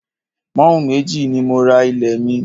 Pọ́ùn méjì ni mo ra ilé mi